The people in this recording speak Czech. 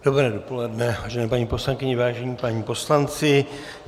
Dobré dopoledne, vážené paní poslankyně, vážení páni poslanci.